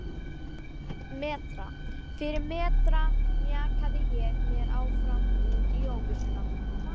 Metra fyrir metra mjakaði ég mér áfram út í óvissuna.